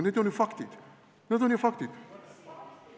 Need on ju faktid, need on ju faktid!